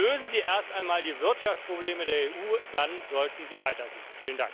Lösen Sie erst einmal die Wirtschaftsprobleme der EU, dann sollten Sie weitersehen.